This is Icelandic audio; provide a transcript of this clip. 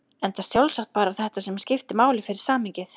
Enda sjálfsagt bara þetta sem skipti máli fyrir samhengið.